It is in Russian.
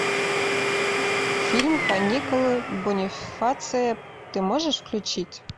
фильм каникулы бонифация ты можешь включить